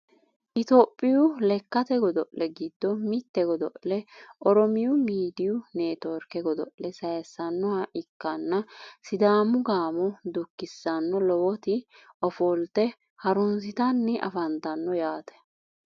itiyophiyu lekkate godo'le giddo mitte godo'le oromiyu miidiyu netiworke godo'le sayiissannoha ikkanna sidaamu gaamo dukisaano lowoti ofolte harunsitanni afantanno yaate